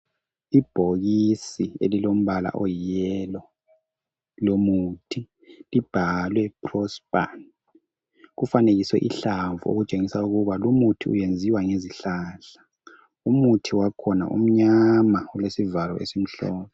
Ibhokisi elilombala oyi yellow lomuthi libhalwe Prospan kufanekiswe ihlamvu okutshengisa ukuba lumuthi wenziwa ngezihlahla umuthi wakhona umnyama ulesivalo esimhlophe.